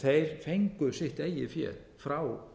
þeir fengu sitt eigið fé frá